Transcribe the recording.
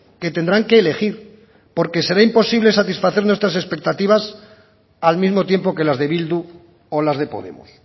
que tendrán que elegir porque será imposible satisfacer nuestras expectativas al mismo tiempo que las de bildu o las de podemos